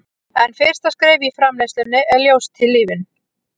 en fyrsta skref í framleiðslunni er ljóstillífun